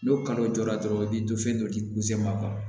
N'o kanu jɔra dɔrɔn i bɛ don fɛn dɔ de